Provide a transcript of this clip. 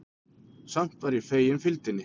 Samt var ég fegin fylgdinni.